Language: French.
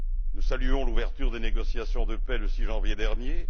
Nous saluons l'ouverture des négociations de paix le 6 janvier dernier.